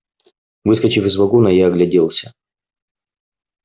выскочив из вагона я огляделся